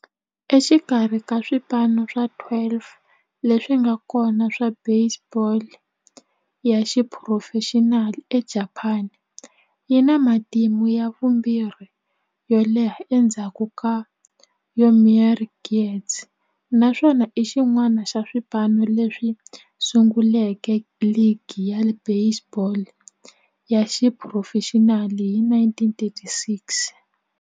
Exikarhi ka swipano swa 12 leswi nga kona swa baseball ya xiphurofexinali eJapani, yi na matimu ya vumbirhi yo leha endzhaku ka Yomiuri Giants, naswona i xin'wana xa swipano leswi sunguleke ligi ya baseball ya xiphurofexinali hi 1936.